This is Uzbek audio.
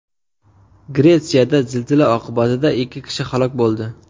Gretsiyada zilzila oqibatida ikki kishi halok bo‘ldi.